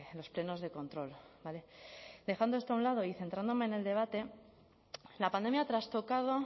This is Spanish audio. los plenos de control vale dejando esto a un lado y centrándome en el debate la pandemia ha trastocado